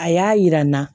A y'a yira n na